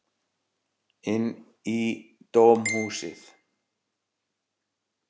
Inn í dómhúsið.